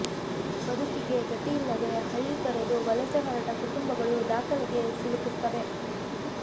ಬದುಕಿಗೆ ಗತಿಯಿಲ್ಲದೇ ಹಳ್ಳಿ ತೊರೆದು ವಲಸೆ ಹೊರಟ ಕುಟುಂಬಗಳು ದಾಖಲೆಗೆ ಸಿಲುಕುತ್ತವೆ